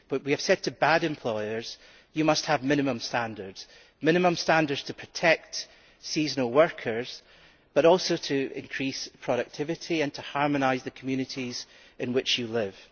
But we have said to bad employers you must have minimum standards to protect seasonal workers but also to increase productivity and to harmonise the communities in which you live.